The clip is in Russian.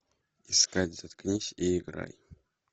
искать заткнись и играй